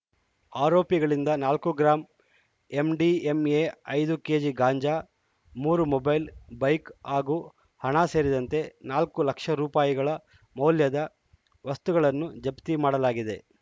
ಆರೋಪಿಗಳಿಂದ ನಾಲ್ಕು gram MDMA ಐದು KG ಗಾಂಜಾ ಮೂರು ಮೊಬೈಲ್‌ ಬೈಕ್‌ ಹಾಗೂ ಹಣ ಸೇರಿದಂತೆ ನಾಲ್ಕು ಲಕ್ಷ ರುಪಯಿಗಳ ಮೌಲ್ಯದ ವಸ್ತುಗಳನ್ನು ಜಪ್ತಿ ಮಾಡಲಾಗಿದೆ